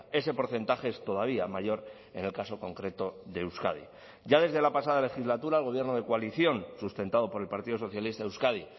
ese porcentaje es todavía mayor en el caso concreto de euskadi ya desde la pasada legislatura el gobierno de coalición sustentado por el partido socialista de euskadi